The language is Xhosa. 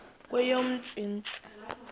kweyomntsintsi